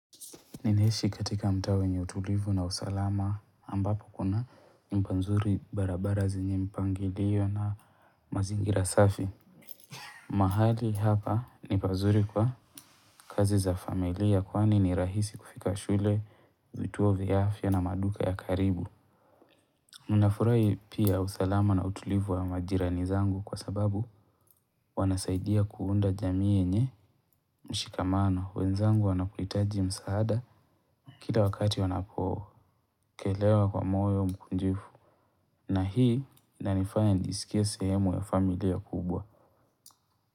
Ninaishi katika mtaa wenye utulivu na usalama ambapo kuna nyumba nzuri barabara zenye mpangilio na mazingira safi. Mahali hapa ni pazuri kwa kazi za familia kwani ni rahisi kufika shule, vituo vya afya na maduka ya karibu. Unafurahi pia usalama na utulivu wa majirani zangu, kwa sababu wanasaidia kuunda jamii yenye mshikamano. Wenzangu wanapohitaji msaada kila wakati wanapokelewa kwa moyo mkunjifu na hii ina nifanya nijisikie sehemu ya familia kubwa.